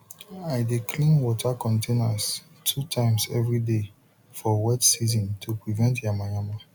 i dey clean water containers two times every day for wet season to prevent yamayama